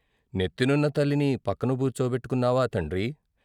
నెత్తినున్న తల్లిని పక్కన కూర్చోపెట్టుకున్నావా తండ్రీ?